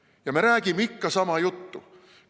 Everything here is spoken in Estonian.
Ja me räägime ikka sama juttu.